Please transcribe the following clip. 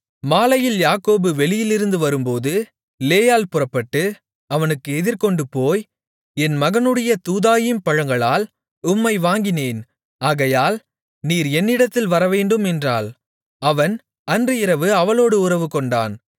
மாலையில் யாக்கோபு வெளியிலிருந்து வரும்போது லேயாள் புறப்பட்டு அவனுக்கு எதிர்கொண்டுபோய் என் மகனுடைய தூதாயீம் பழங்களால் உம்மை வாங்கினேன் ஆகையால் நீர் என்னிடத்தில் வரவேண்டும் என்றாள் அவன் அன்று இரவு அவளோடு உறவுகொண்டான்